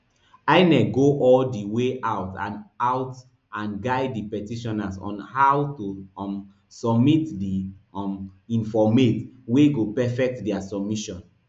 inec go all di way out and out and guide di petitioners on how to um submit di um informate wey go perfect dia submission